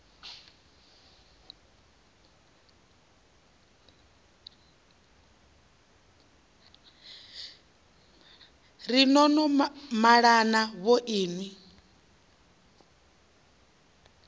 ri no no malana vhoinwi